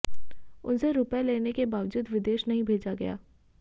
उनसे रुपये लेने के बावजूद विदेश नहीं भेजा गया